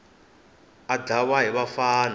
a dlawa hi vafana va